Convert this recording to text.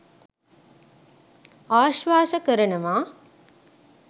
ආශ්වාස කරනව.